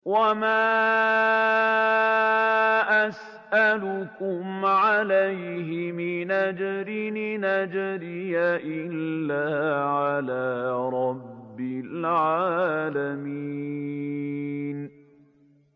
وَمَا أَسْأَلُكُمْ عَلَيْهِ مِنْ أَجْرٍ ۖ إِنْ أَجْرِيَ إِلَّا عَلَىٰ رَبِّ الْعَالَمِينَ